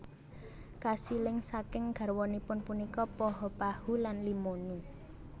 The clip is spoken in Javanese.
Kasiling saking garwanipun punika Paha Pahu lan Limanu